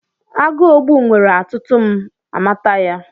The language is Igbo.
Agụogbu nwere atụtụ m amata ya.